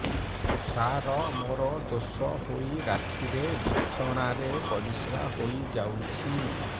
ସାର ମୋର ଦୋଷ ହୋଇ ରାତିରେ ବିଛଣାରେ ପରିସ୍ରା ହୋଇ ଯାଉଛି